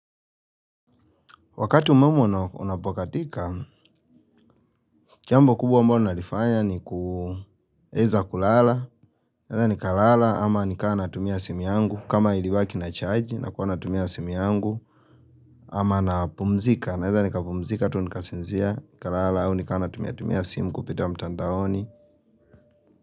Wakati umeme unapokatika, jambo kubwa ambalo nalifanya ni kuweza kulala, nikalala, ama nikawa natumia simu yangu, kama ilibaki na chaji, nakuwa natumia sim yangu, ama napumzika, naweza nikapumzika, tu nikasinzia, nikalala, au nikawa natumia tumia simu kupitia mtandaoni.